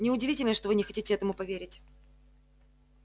не удивительно что вы не хотите этому поверить